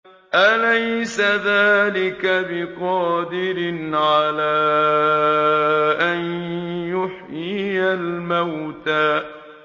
أَلَيْسَ ذَٰلِكَ بِقَادِرٍ عَلَىٰ أَن يُحْيِيَ الْمَوْتَىٰ